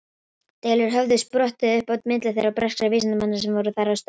Deilur höfðu sprottið upp á milli þeirra og breskra vísindamanna sem voru þar að störfum.